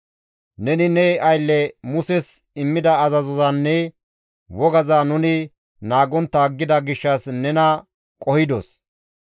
Neni ne aylle Muses immida azazozanne wogaza nuni naagontta aggida gishshas nena qohidos.